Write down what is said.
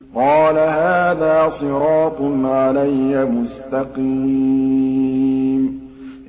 قَالَ هَٰذَا صِرَاطٌ عَلَيَّ مُسْتَقِيمٌ